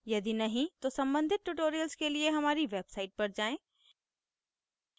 यदि नहीं तो सम्बंधित tutorials के लिए हमारी website पर जाएँ